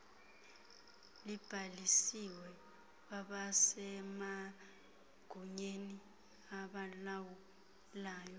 libhalisiwe kwabasemagunyeni abalawulayo